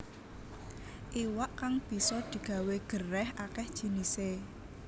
Iwak kang bisa digawé gerèh akéh jinisé